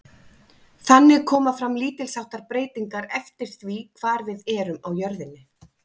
Einnig koma fram lítils háttar breytingar eftir því hvar við erum á jörðinni.